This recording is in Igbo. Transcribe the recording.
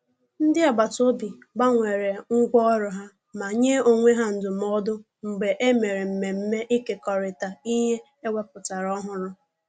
Ndị agbataobi gbanwere ngwa ọrụ ha ma nye onwe ha ndụmọdụ mgbe e mere mmemme ikekorita ihe nke e wepụtara ọhụrụ